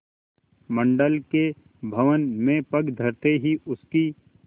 मंडल के भवन में पग धरते ही उसकी